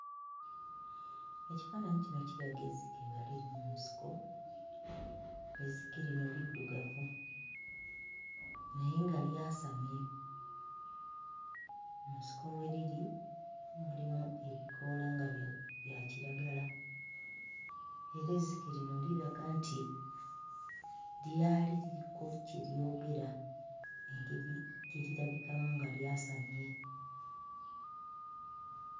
Ekifaannyi kino kiraga ezzike nga liri mu nsiko, ezzike lino liddugavu naye nga lyasamye, mu nsiko mwe liri mulimu ebikoola nga bya bya kiragala era ezzike lino liraga nti lyali liriko kye lyogera engeri gye lirabikamu nga lyasamye.